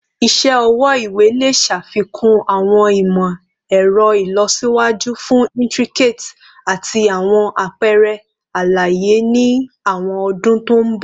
Iṣẹ ọwọ iwe le ṣafikun awọn imọ-ẹrọ ilọsiwaju fun intricate ati awọn apẹrẹ alaye ni awọn ọdun to nbọ